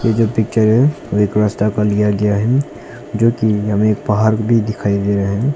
ये जो एक रस्ता का लिया गया है जोकि हमे एक पहाड़ भी दिखाई दे रहा है।